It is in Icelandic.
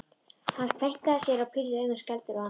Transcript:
Hann kveinkaði sér og pírði augun skelfdur á hana.